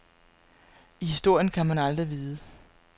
I historien kan man aldrig vide.